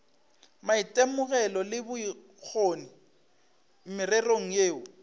maitemogelo le bokgoni mererong yeo